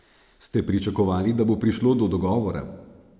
Ste pričakovali, da bo prišlo do dogovora?